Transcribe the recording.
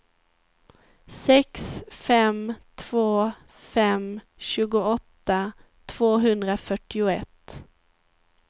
sex fem två fem tjugoåtta tvåhundrafyrtioett